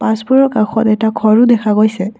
বাছবোৰৰ কাষত এটা ঘৰো দেখা গৈছে।